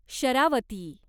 Sharavati